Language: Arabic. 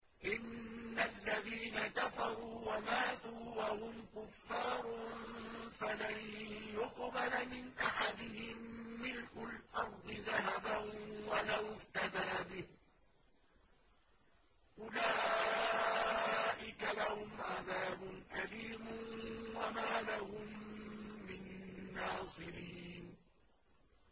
إِنَّ الَّذِينَ كَفَرُوا وَمَاتُوا وَهُمْ كُفَّارٌ فَلَن يُقْبَلَ مِنْ أَحَدِهِم مِّلْءُ الْأَرْضِ ذَهَبًا وَلَوِ افْتَدَىٰ بِهِ ۗ أُولَٰئِكَ لَهُمْ عَذَابٌ أَلِيمٌ وَمَا لَهُم مِّن نَّاصِرِينَ